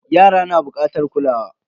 Yara na bukatar kulawa.